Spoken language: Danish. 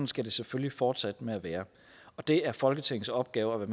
skal det selvfølgelig fortsætte med at være og det er folketingets opgave at